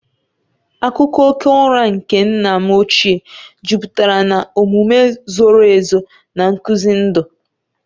Akụkọ oge ụra nke nna m ochie jupụtara na omume zoro ezo na nkuzi ndụ.